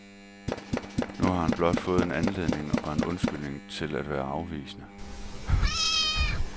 Nu har han blot fået en anledning og en undskyldning til at være afvisende.